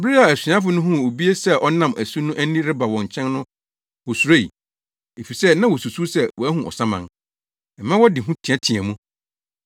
Bere a asuafo no huu obi sɛ ɔnam asu no ani reba wɔn nkyɛn no wosuroe, efisɛ na wosusuw sɛ wɔahu ɔsaman. Ɛmaa wɔde hu teɛteɛɛ mu.